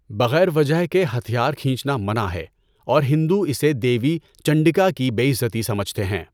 بغیر وجہ کے ہتھیار کھینچنا منع ہے اور ہندو اسے دیوی چنڈکا کی بے عزتی سمجھتے ہیں۔